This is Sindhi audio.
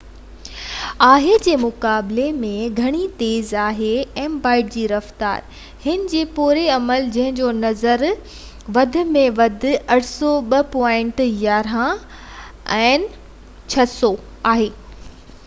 802.11n جي رفتار هن جي پوئين عمل جنهن جو نظري اتارو وڌ ۾ وڌ 600mbit/s آهي جي مقابلي ۾ گهڻي تيز آهي